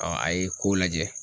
a ye ko lajɛ.